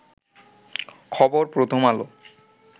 খবর প্রথম আলো